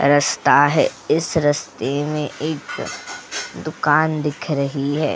रस्ता है इस रस्ते में एक दुकान दिख रही है।